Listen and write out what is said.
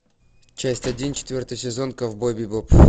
часть один четвертый сезон ковбой бибоп